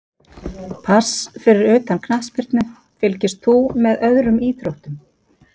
Pass Fyrir utan knattspyrnu, fylgist þú með öðrum íþróttum?